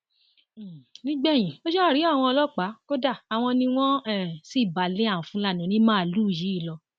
um nígbẹyìn ó ṣáà rí àwọn ọlọpàá kó dé àwọn ni wọn um sì bá a lé àwọn fúlàní onímàálùú yìí lọ